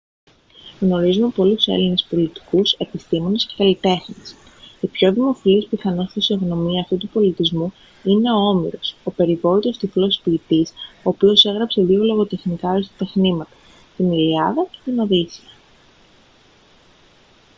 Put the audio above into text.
γνωρίζουμε πολλούς έλληνες πολιτικούς επιστήμονες και καλλιτέχνες η πιο δημοφιλής πιθανώς φυσιογνωμία αυτού του πολιτισμού είναι ο όμηρος ο περιβόητος τυφλός ποιητής ο οποίος έγραψε δύο λογοτεχνικά αριστοτεχνήματα την ιλιάδα και τη οδύσσεια